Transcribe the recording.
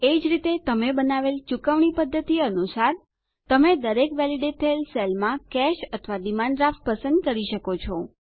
એ જ રીતે તમે બનાવેલ ચુકવણી પદ્ધતિ અનુસાર તમે દરેક વેલીડેટ થયેલ સેલમાં કેશ અથવા ડિમાન્ડ ડ્રાફ્ટ પસંદ કરી શકો છો